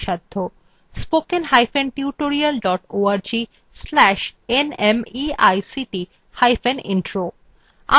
spoken hyphen tutorial dot org slash nmeict hyphen intro